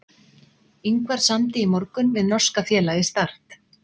Ingvar samdi í morgun við norska félagið Start.